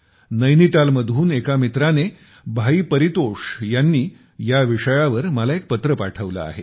नैनीताल मधून एका मित्राने भाई परितोष यांनी या विषयावर मला पत्र पाठवले आहे